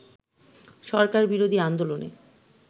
সরকার বিরোধী আন্দোলনে